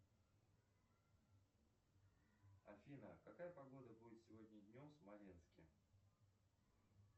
афина какая погода будет сегодня днем в смоленске